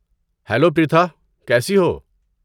Hello, Pritha. کیسی ہو؟